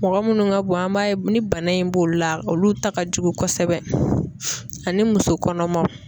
Mɔgɔ minnu ka bon an b'a ye ni bana in b'olu la olu ta ka jugu kosɛbɛ ani muso kɔnɔmaw.